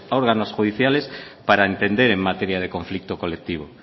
órganos judiciales para entender en materia de conflicto colectivo